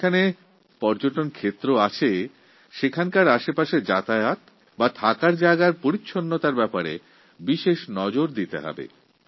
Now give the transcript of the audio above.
যেখানে পর্যটকরা যান এবং থাকেন সেইসব পর্যটনস্থলগুলি পরিষ্কারপরিচ্ছন্ন রাখার প্রতি আমাদের বিশেষ আগ্রহ থাকা উচিত